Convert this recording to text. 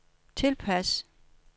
tilpas